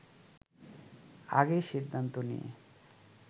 আগেই সিদ্ধান্ত নিয়ে